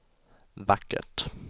vackert